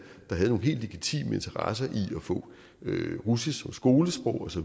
der havde nogle helt legitime interesser i at få russisk som skolesprog osv